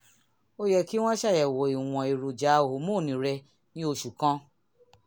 ó yẹ kí wọ́n ṣàyẹ̀wò ìwọ̀n èròjà hòmónù rẹ ní oṣù kan